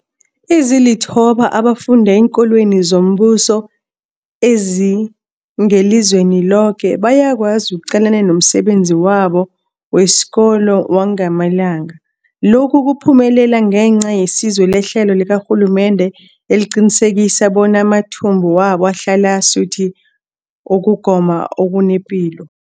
Ezilithoba abafunda eenkolweni zombuso ezingelizweni loke bayakwazi ukuqalana nomsebenzi wabo wesikolo wangamalanga. Lokhu kuphumelele ngenca yesizo lehlelo likarhulumende eliqinisekisa bona amathumbu wabo ahlala asuthi ukugoma okunepilo.